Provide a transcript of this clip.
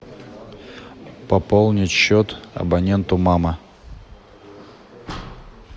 пополнить счет абоненту мама